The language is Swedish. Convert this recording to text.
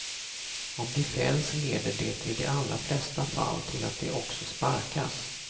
Om de fälls leder det i de allra flesta fall till att de också sparkas.